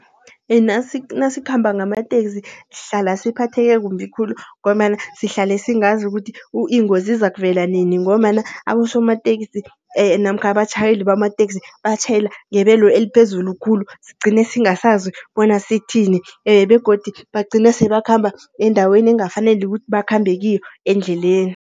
Nasikhamba ngamateksi sihlala siphatheke kumbi khulu. Ngombana sihlale singazi ukuthi ingozi izakuvela nini, ngombana abosomateksi namkha abatjhayeli bamateksi batjhayela ngebelo eliphezulu khulu. Sigcine singasazi bona sithini, begodu bagcina sebakhamba endaweni engakafaneli ukuthi bakhambe kiyo endleleni.